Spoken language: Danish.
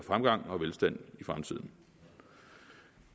absolut